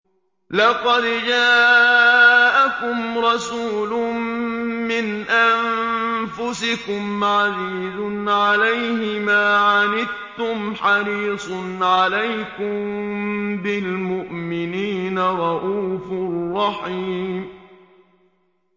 لَقَدْ جَاءَكُمْ رَسُولٌ مِّنْ أَنفُسِكُمْ عَزِيزٌ عَلَيْهِ مَا عَنِتُّمْ حَرِيصٌ عَلَيْكُم بِالْمُؤْمِنِينَ رَءُوفٌ رَّحِيمٌ